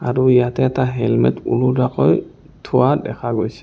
আৰু ইয়াতে এটা হেলমেট‍ ওলুতাকৈ থোৱা দেখা গৈছে।